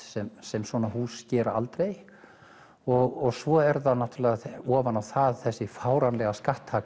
sem sem svona hús gera aldrei og svo er það ofan á það þessi fáránlega